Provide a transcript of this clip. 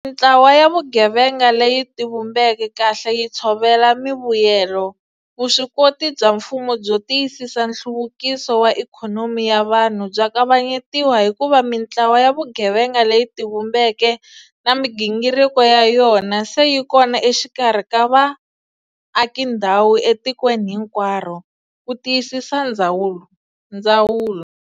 Loko mitlawa ya vugevenga leyi tivumbeke kahle yi tshovela mivuyelo, vuswikoti bya mfumo byo tiyisisa nhluvukiso wa ikhonomi ya vanhu bya kavanyetiwa hikuva mitlawa ya vugevenga leyi tivumbeke na migingiriko ya yona se yi kona exikarhi ka vaakindhawu etikweni hinkwaro, ku tiyisisa ndzawulo.